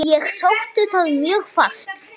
Ég sótti það mjög fast.